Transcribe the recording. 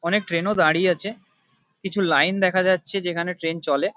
অনেক ট্রেন -ও দাঁড়িয়ে আছে। কিছু লাইন দেখা যাচ্ছে যেখানে ট্রেন চলে।